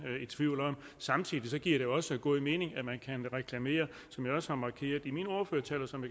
i tvivl om samtidig giver det også god mening at man kan reklamere som jeg også har markeret i min ordførertale og som